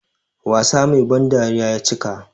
Wasa Mai ban dariya ya cika.